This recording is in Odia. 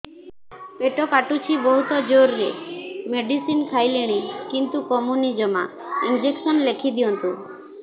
ପେଟ କାଟୁଛି ବହୁତ ଜୋରରେ ମେଡିସିନ ଖାଇଲିଣି କିନ୍ତୁ କମୁନି ଜମା ଇଂଜେକସନ ଲେଖିଦିଅନ୍ତୁ